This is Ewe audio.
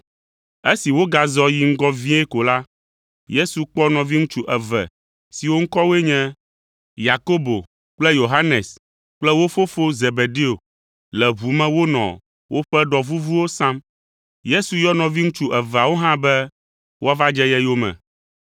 Esi wogazɔ yi ŋgɔ vie ko la, Yesu kpɔ nɔviŋutsu eve siwo ŋkɔwoe nye, Yakobo kple Yohanes kple wo fofo Zebedeo le ʋu me wonɔ woƒe ɖɔ vuvuwo sam. Yesu yɔ nɔviŋutsu eveawo hã be woava dze ye yome.